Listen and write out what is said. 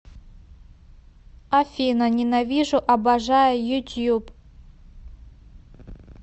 афина ненавижу обожаю ютьюб